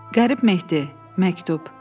Qərib Mehdi, məktub.